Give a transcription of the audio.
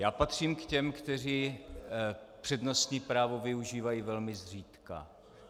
Já patřím k těm, kteří přednostní právo využívají velmi zřídka.